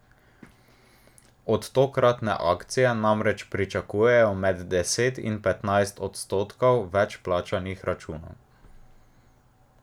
Od tokratne akcije namreč pričakujejo med deset in petnajst odstotkov več plačanih računov.